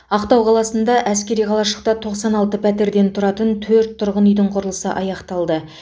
ақтау қаласындағы әскери қалашықта тоқсан алты пәтерден тұратын төрт тұрғын үйдің құрылысы аяқталды